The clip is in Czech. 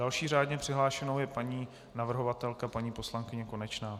Další řádně přihlášenou je paní navrhovatelka paní poslankyně Konečná.